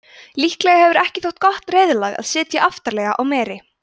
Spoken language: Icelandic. líklega hefur ekki þótt gott reiðlag að sitja aftarlega á meri